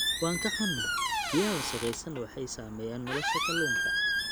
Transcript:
Waan ka xunahay, biyaha wasakhaysan waxay saameeyaan nolosha kalluunka.